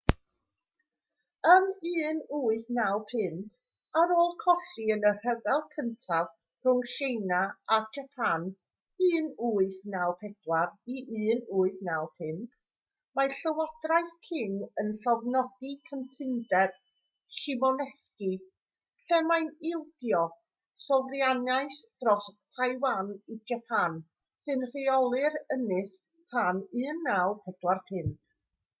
ym 1895 ar ôl colli yn y rhyfel gyntaf rhwng tsieina a japan 1894-1895 mae llywodraeth qing yn llofnodi cytundeb shimonoseki lle mae'n ildio sofraniaeth dros taiwan i japan sy'n rheoli'r ynys tan 1945